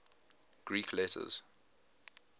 greek letters